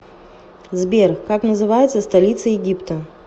сбер как называется столица египта